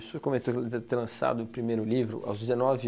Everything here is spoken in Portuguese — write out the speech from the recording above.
O senhor comentou te ter lançado o primeiro livro aos dezenove